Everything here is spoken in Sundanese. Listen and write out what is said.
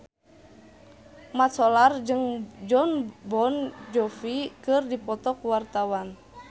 Mat Solar jeung Jon Bon Jovi keur dipoto ku wartawan